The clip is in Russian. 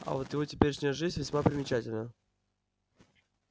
а вот его теперешняя жизнь весьма примечательна